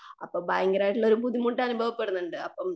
അപ്പൊ ഭയങ്കരമായിട്ടുള്ളൊരു ബുദ്ധിമുട്ട് അനുഭവപെടുന്നുണ്ട്.